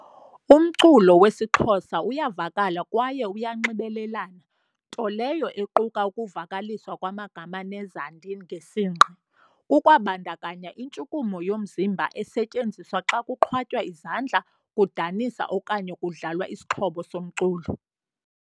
Umculo wesiXhosa uyavakala kwaye uyanxibelelana, nto leyo equka ukuvakaliswa kwamagama nezandi ngesingqi. Kukwabandakanya intshukumo yomzimba esetyenziswa xa kuqhwatywa izandla, kudanisa okanye kudlalwa isixhobo somculo.